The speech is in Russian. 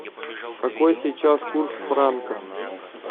какой сейчас курс франков